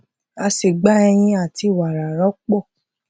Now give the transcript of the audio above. a sì gba eyin àti wara rọpò